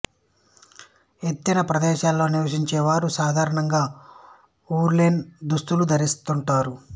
ఎత్తైన ప్రదేశాలలో నివసించే చారు సాధారణంగా ఉలెన్ దుస్తులు ధరిస్తుంటారు